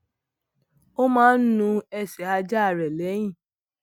ó máa ń nu ẹsè ajá rè léyìn